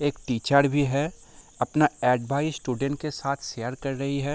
एक टीचर भी है अपना एडवाइस स्टूडेंट के साथ शेयर कर रही है।